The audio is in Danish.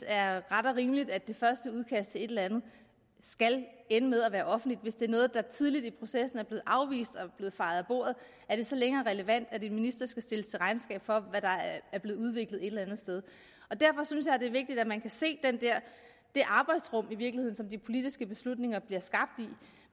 er ret og rimeligt at det første udkast til et eller andet skal ende med at være offentligt hvis det er noget der tidligt i processen er blevet afvist og fejet af bordet er det så længere relevant at en minister skal stilles til regnskab for hvad der er blevet udviklet et eller andet sted derfor synes jeg det er vigtigt at man kan se det arbejdsrum i virkeligheden som de politiske beslutninger bliver skabt i